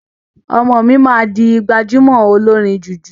Ọmọ mi maa di gbajúmọ̀ olórin jùjú.